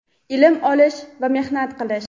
ilm olish va mehnat qilish.